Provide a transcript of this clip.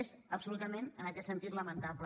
és absolutament en aquest sentit lamentable